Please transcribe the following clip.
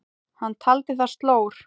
Hann taldi það slór.